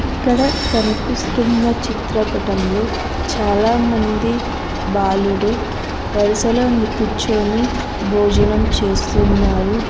ఇక్కడ కనిపిస్తున్న చిత్రపటంలో చాలామంది బాలుడు వరుసలోని కూర్చొని భోజనం చేస్తున్నారు.